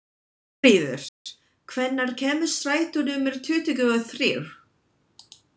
Þórfríður, hvenær kemur strætó númer tuttugu og þrjú?